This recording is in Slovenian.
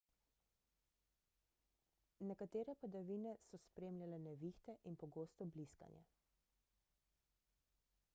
nekatere padavine so spremljale nevihte in pogosto bliskanje